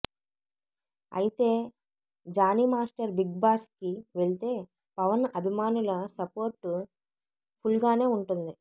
అయితే Jani master big బాస్కి వెళ్తే పవన్ అభిమానుల సపోర్ట్ ఫుల్గానే ఉంటుంది